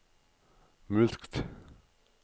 mulkt